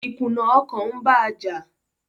ìkùnà ọkàn ń ba á jà.